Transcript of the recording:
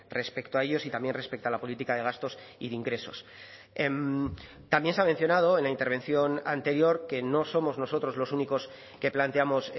respecto a ellos y también respecto a la política de gastos y de ingresos también se ha mencionado en la intervención anterior que no somos nosotros los únicos que planteamos